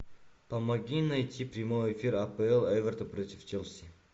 помоги найти прямой эфир апл эвертон против челси